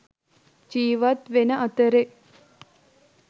ජිවත් වෙන අතරෙ